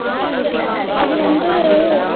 அதுவந்து